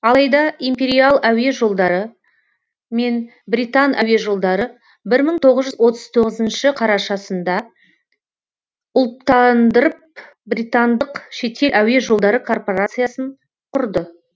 алайда империал әуе жолдары мен британ әуежолдары бір мың тоғыз жүз отыз тоғызыншы қарашасында ұлттандырып британдық шетел әуе жолдары корпорациясын құрды